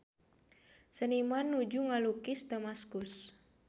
Seniman nuju ngalukis Damaskus